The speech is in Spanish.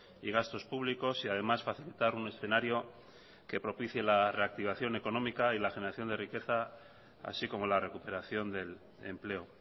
y gastos públicos y además facilitar un escenario que propicie la reactivación económica y la generación de riqueza así como la recuperación del empleo